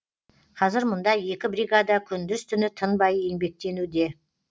қазір мұнда екі бригада күндіз түні тынбай еңбектенуде